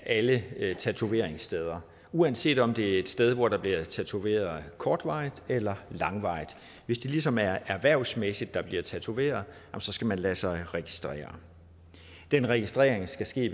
alle tatoveringssteder uanset om det er et sted hvor der bliver tatoveret kortvarigt eller langvarigt hvis det ligesom er erhvervsmæssigt der bliver tatoveret så skal man lade sig registrere den registrering skal ske